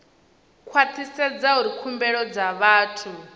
khwathisedza uri khumbelo dza vhathu